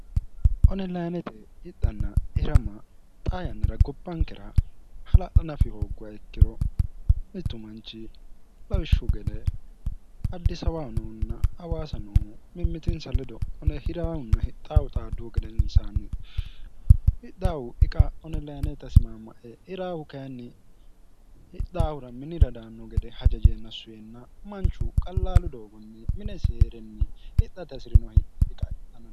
onilaanete idanna irama xaa yannara gobbankera hala'la nafi hooggowa ikkiro mittu manchi lawishshu gede addi sawaanounna awaasa nohu mimmitinsa ledo one hiraahunna hixaawu xaadduhu gede insaanni hidawu isimamae iraawu kinni hidhaawura minira daanno gede hajajeenna suyinna manchu qallaalu doogonni minesi hee'renni hixate hasi'rino hihiqaihanno